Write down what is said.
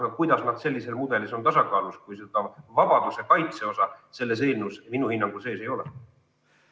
Aga kuidas nad sellises mudelis on tasakaalus, kui seda vabaduse kaitse osa selles eelnõus minu hinnangul sees ei ole?